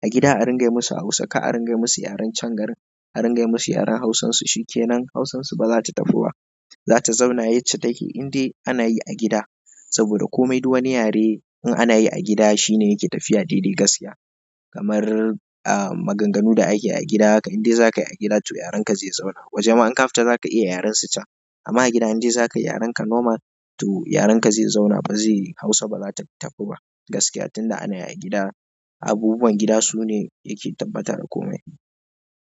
A gida a ringa yi musu a Hausa, kar a ringa yi musu yaren can garin. A ringa yi musu yaran hausansu, shi kenan hausan su ba zata tabu ba. Za ta zauna yacce take, indai ana yi a gida. Saboda komai duk wani yare in ana yi a gida shine yake tafiya daidai gaskiya. Kamar, ah, maganganu da ake yi a gida haka indai za ka yi a gida to yaren ka zai zauna. Waje ma in ka fita za ka iya yaren su can. Amma a gida indai za ka yi yaren ka normal to yaren ka zai zauna ba zai yi, Hausa ba za ta tafi ba. Gaskiya tunda ana yi a gida, abubuwan gida sune yake tabbatar da komai.